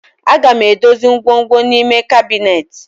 Aga m edozi ngwongwom n'ime kabinet